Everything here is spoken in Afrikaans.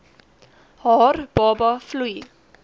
haar baba vloei